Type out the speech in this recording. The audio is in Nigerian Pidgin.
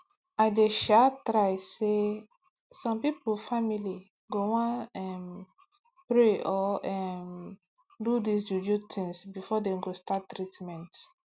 i dey um try say some pipo family go wan um pray or um do dis juju things before dem go start treatment